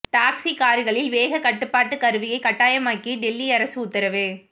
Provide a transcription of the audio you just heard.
taxi கார்களில் வேக கட்டுப்பாட்டு கருவியை கட்டாயமாக்கி டெல்லி அரசு உத்தரவு